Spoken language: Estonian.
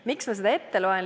Miks ma seda ette loen?